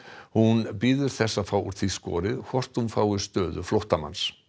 hún bíður þess að fá úr því skorið hvort hún fái stöðu flóttamanns